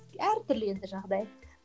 әр түрлі енді жағдай